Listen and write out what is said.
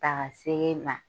Ta ka se e ma